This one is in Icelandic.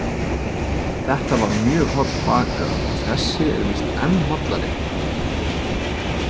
Þetta var mjög holl baka og þessi er víst enn hollari.